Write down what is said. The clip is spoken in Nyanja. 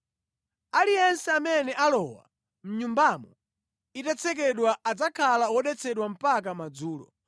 “Aliyense amene alowa mʼnyumbamo itatsekedwa adzakhala wodetsedwa mpaka madzulo.